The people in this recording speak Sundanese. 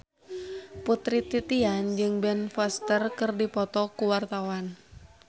Putri Titian jeung Ben Foster keur dipoto ku wartawan